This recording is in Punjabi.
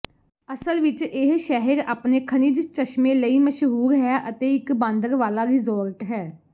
ਅਸਲ ਵਿੱਚ ਇਹ ਸ਼ਹਿਰ ਆਪਣੇ ਖਣਿਜ ਚਸ਼ਮੇ ਲਈ ਮਸ਼ਹੂਰ ਹੈ ਅਤੇ ਇੱਕ ਬਾਂਦਰਵਾਲਾ ਰਿਜ਼ੋਰਟ ਹੈ